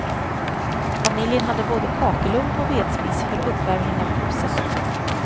Familjen hade både kakelugn och vedspis för uppvärmning av huset.